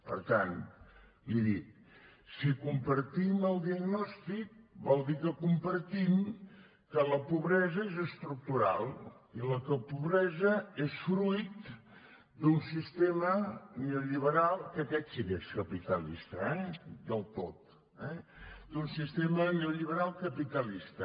per tant li dic si compartim el diagnòstic vol dir que compartim que la pobresa és estructural i la pobresa és fruit d’un sistema neolliberal que aquest sí que és capitalista eh del tot d’un sistema neo lliberal capitalista